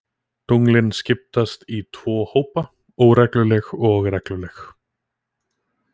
Tunglin skiptast í tvo hópa, óregluleg og regluleg.